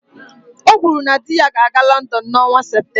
O kwuru na di ya ga-aga London n'ọnwa Septemba